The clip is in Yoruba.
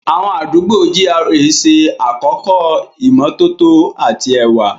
Àwọn àdúgbò GRA ṣe àkọ́kọ́ ìmọ́tótó àti ẹwà.